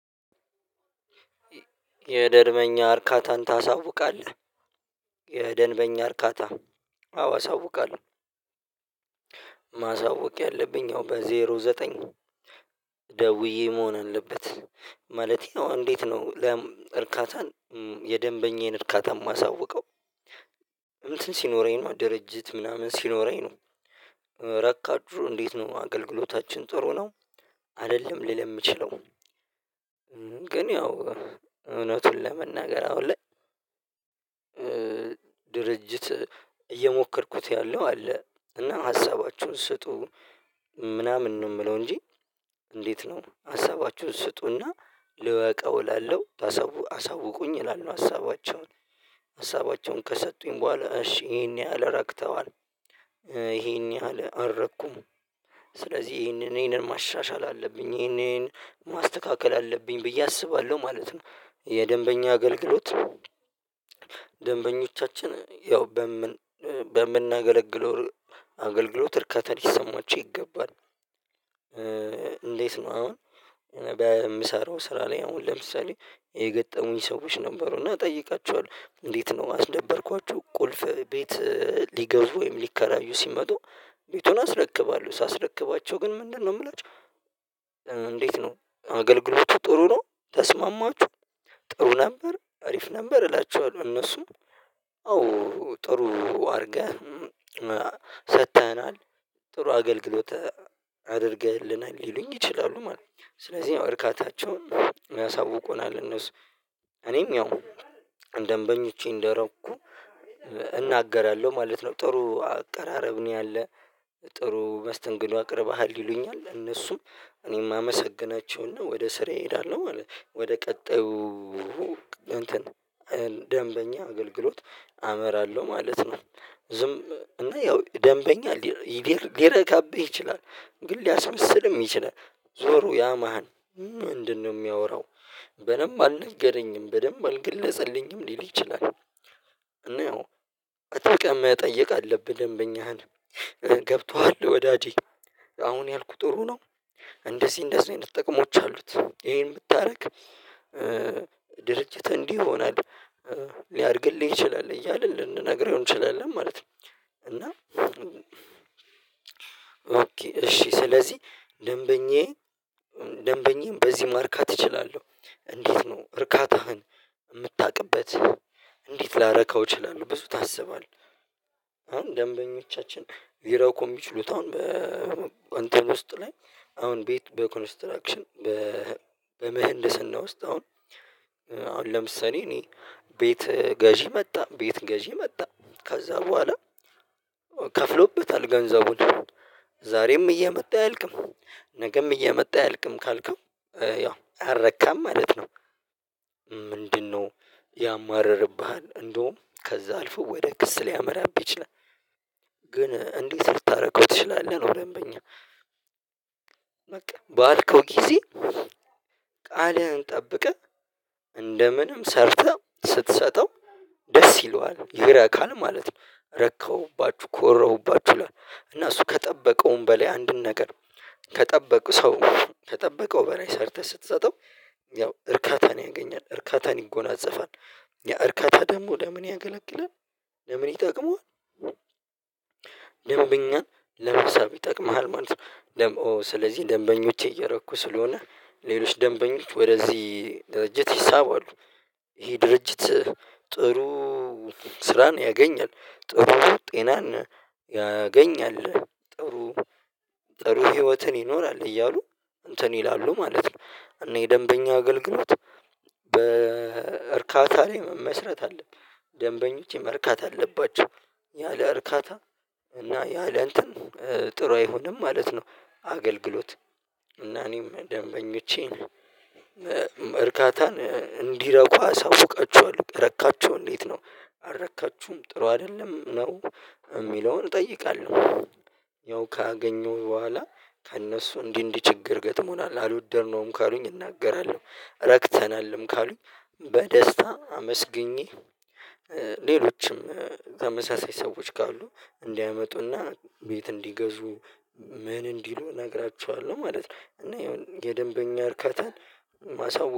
የደርበኛ እርካታን ታሳውቃለህ? የደንበኛ እርካታ አዎ አሳውቃለሁ ማሳወቅ ያለብኝ ያው በዜሮ ዘጠኝ ደውዬ መሆን አለበት ማለቴ እንዴት ነው እርካታን የደንበኛዬን እርካታ የማሳውቀው እንትን ሲኖረኝ ነው ድርጅት ምናምን ሲኖረኝ ነው ረካችሁ እንዴት ነው አገልግሎታችን ጥሩ ነው አይደለም ልል የምችለው ግን ያው እውነቱን ለመናገር አሁን ላይ ድርጅት እየሞከርኩት ያለው አለ እና ሀሳባችሁን ስጡ ምናምን ነው የምለው እንጂ እንዴት ነው ሀሳባችሁን ስጡና ልወቀው እላለሁ አሳውቁኝ እላለሁ ሀሳባቸውን ሀሳባቸውን ከሰጡኝ በኋላ እሺ ይሄን ያህል ረክተዋል ይሄን ያህል አረኩም ስለዚህ ይሄንን ይህንን ማሻሻል አለብኝ ይሄንን ማስተካከል አለብኝ ብዬ አስባለሁ ማለት ነው የደንበኛ አገልግሎት ደንበኞቻችን ያው በምን በምናገለግለው አገልግሎት እርካታ ሊሰማቸው ይገባል እንዴት ነው አሁን በምሰራው ስራ ላይ አሁን ለምሳሌ የገጠሙኝ ሰዎች ነበሩ እና እጠይቃቸዋለሁ እንዴት ነው አስደበርኳችሁ ቁልፍ ቤት ሊገዙ ወይም ሊከራዩ ሲመጡ ቤቱን አስረክባለሁ ሳስረክባቸው ግን ምንድነው የምላችሁ እንዴት ነው አገልግሎቱ ጥሩ ነው ተስማማችሁ ጥሩ ነበር አሪፍ ነበር እላቸዋለሁ እነሱም አዎ ጥሩ አድርገህ ሰጥተኸናል ጥሩ አገልግሎት አድርገህልናል ሊሉኝ ይችላሉ ማለት ነው ስለዚህ እርካታቸውን ያሳውቁናል እነሱ እኔም ያው ደንበኞቼ እንደረኩ እናገራለሁ ማለት ነው ጥሩ አቀራረብ ነው ያለ ጥሩ መስተንግዶ አቅርበሃል ይሉኛል እነሱም እኔም አመሰግናቸውና ወደ ስራ እሄዳለሁ ማለት ነው ወደ ቀጣዩ ደንበኛ አገልግሎት አመራለሁ ማለት ነው ዝም እና ያው ደንበኛ ይገር ሊረካብህ ይችላል ግን ሊያስመስልም ይችላል ዞሮ ያማህን ምንድነው የሚያወራው በደንብ አልነገረኝም በደንብ አልገለጸልኝም ሊል ይችላል እና ያው አጠቃላይ መጠየቅ አለብን ደንበኛህን ገብቶሃል ወዳጄ አሁን ያልኩህ ጥሩ ነው እንደዚህ እንደዚህ ነው የምትጠቀሙት አሉት ይሄን ብታደርግ ድርጅትህ እንዲህ ይሆናል ሊያድግልህ ይችላል እያልን ልንነግርህ እንችላለን ማለት ነው እና እና እሺ ስለዚህ ደንበኛዬ ደንበኛዬም በዚህ ማርካት እችላለሁ እንዴት ነው እርካታህን የምታውቅበት እንዴት ላረካው እችላለሁ በሱ ታስባለህ አሁን ደንበኞቻችን ይረኩ የሚችሉት አሁን በእንተን ውስጥ ላይ አሁን ቤት በኮንስትራክሽን በምህንድስና ውስጥ አሁን አሁን ለምሳሌ እኔ ቤት ገዢ መጣ ቤት ገዢ መጣ ከዛ በኋላ ከፍሎበታል ገንዘቡን ዛሬም እየመጣ አያልቅም ነገም እየመጣ አያልቅም ካልከው ያው አረካም ማለት ነው ምንድነው ያማርርብሃል እንደውም ከዛ አልፎ ወደ ክስ ሊያመራብህ ይችላል ግን እንዴት ልታደርገው ትችላለህ ነው ደንበኛ በቃ በአልከው ጊዜ ቃልህን ጠብቀህ እንደምንም ሰርተህ ስትሰጠው ደስ ይለዋል ይረካል ማለት ነው ረከሁባችሁ ኮራሁባችሁ እና እሱ ከጠበቀውም በላይ አንድን ነገር ከጠበቅ ሰው ከጠበቀው በራይ ሰርተህ ስትሰጠው ያው እርካታን ያገኛል እርካታን ይጎናጸፋል ያ እርካታ ደግሞ ለምን ያገለግላል ለምን ይጠቅመዋል ደንብኛን ለመሳብ ይጠቅምሃል ማለት ነው ደም ኦ ስለዚህ ደንበኞቼ እየረኩ ስለሆነ ሌሎች ደንበኞች ወደዚህ ድርጅት ይሳባሉ ይሄ ድርጅት ጥሩ ስራን ያገኛል ጥሩ ጤናን ያገኛል ጥሩ ጥሩ ህይወትን ይኖራል እያሉ እንትን ይላሉ ማለት ነው እኔ ደንበኛ አገልግሎት በእርካታ ላይ መመስረት አለብኝ ደንበኞች መርካት አለባቸው ያለ እርካታ እና ያለ እንትን ጥሩ አይሆንም ማለት ነው አገልግሎት እና እኔም ደንበኞቼን እርካታን እንዲረኩ አሳውቃችኋለሁ ረካችሁ እንዴት ነው አረካችሁም ጥሩ አይደለም ነው የሚለውን እጠይቃለሁ ያው ካገኘሁ በኋላ ከእነሱ እንዲህ እንዲህ ችግር ገጥሞናል አድወደርነውም ካሉኝ እናገራለሁ ረክተናልም ካሉኝ በደስታ አመስግኜ ሌሎችም ተመሳሳይ ሰዎች ካሉ እንዲያመጡና ቤት እንዲገዙ ምን እንዲሉ እነግራችኋለሁ ማለት ነው እና የደንበኛ እርከታን ማሳወቅ